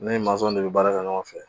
Ne ni mansɔn de bɛ baara kɛ ɲɔgɔn fɛ.